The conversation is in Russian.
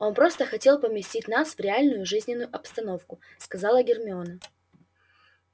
он просто хотел поместить нас в реальную жизненную обстановку сказала гермиона